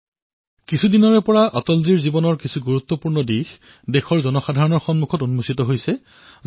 বিগত কিছুদিনৰ পৰা অটলজীৰ বিভিন্ন উত্তম কথা জনসাধাণৰ সন্মুখলৈ আহিছে